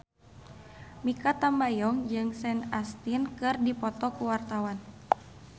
Mikha Tambayong jeung Sean Astin keur dipoto ku wartawan